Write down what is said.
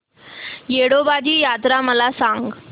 येडोबाची यात्रा मला सांग